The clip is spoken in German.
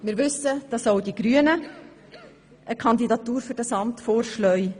Wir wissen, dass auch die Grünen eine Kandidatur für dieses Amt vorschlagen.